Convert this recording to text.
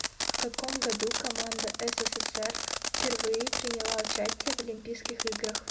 в каком году команда ссср впервые приняла участие в олимпийских играх